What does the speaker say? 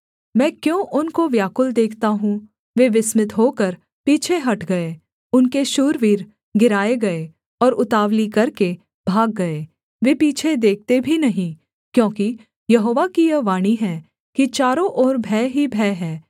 मैं क्यों उनको व्याकुल देखता हूँ वे विस्मित होकर पीछे हट गए उनके शूरवीर गिराए गए और उतावली करके भाग गए वे पीछे देखते भी नहीं क्योंकि यहोवा की यह वाणी है कि चारों ओर भय ही भय है